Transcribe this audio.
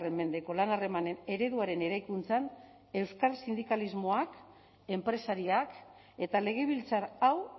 mendeko lan harremanen ereduaren eraikuntzan euskal sindikalismoak enpresariak eta legebiltzar hau